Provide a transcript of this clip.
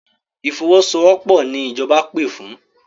Ìfọwọ́sowọ́pọ̀ ni ìjọba pè fún.